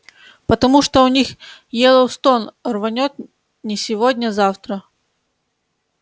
потому что у них йеллоустон рванёт не сегодня-завтра